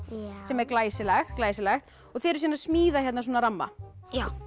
sem er glæsilegt glæsilegt og þið eruð að smíða ramma já